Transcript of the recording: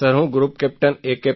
sir હું group captain એ